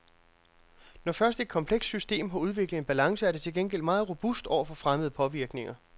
Når først et komplekst system har udviklet en balance, er det til gengæld meget robust over for fremmede påvirkninger.